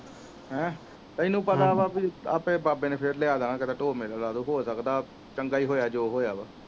ਹਮ ਤੈਨੂੰ ਪਤਾ ਵਾ ਵੀ ਆਪੇ ਬਾਬੇ ਨੇ ਫੇਰ ਲੇਆ ਦੇਣਾ ਚੰਗਾ ਹੀ ਹੋਇਆ ਜੋ ਹੋਇਆ ਵਾ